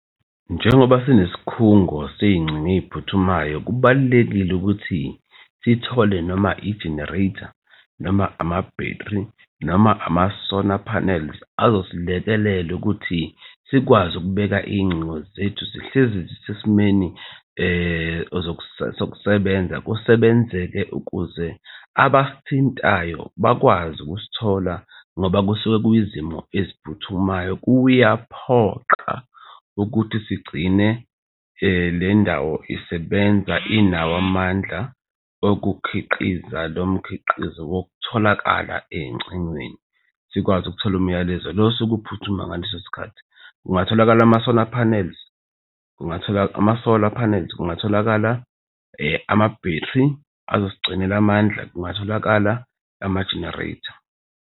Njengoba sinesikhungo sezingcingo ey'phuthumayo, kubalulekile ukuthi sithole noma i-generator, noma ama-battery, noma amasona panels azosilekelela ukuthi sikwazi ukubeka iy'ngcingo zethu zihlezi zisesimeni sokusebenza, kusebenzeke ukuze abasithintayo bakwazi ukusithola ngoba kusuke kuyizimo eziphuthumayo. Kuyaphoqa ukuthi sigcine le ndawo isebenza inawo amandla okukhiqiza lo mkhiqizo wokutholakala ey'ngcingweni. Sikwazi ukuthola umyalezo lo osuke uphuthuma ngaleso sikhathi. Kungatholakala amasona panels ama-solar panels kungatholakala ama-battery azosigcinela amandla, kungatholakala ama-generator.